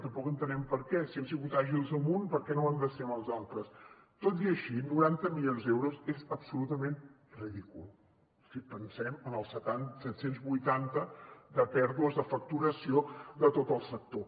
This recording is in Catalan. tampoc entenem per què si hem sigut àgils amb un per què no ho hem de ser amb els altres tot i així noranta milions d’euros és absolutament ridícul si pensem en els set cents i vuitanta de pèrdues de facturació de tot el sector